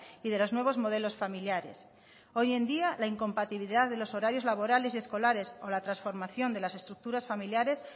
y de los nuevos modelos familiares hoy en día la incompatibilidad de los horarios laborales y escolares o la transformación de las estructuras familiares